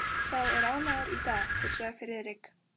Sá er ánægður í dag, hugsaði Friðrik.